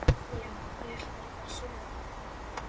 Já, ég ætla bara að fara að sofa